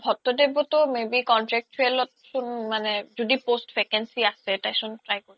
ভত্যদেৱতো may be contractual ত মানে য্দি post vacancy আছে তাই চোন try কৰিব পাৰে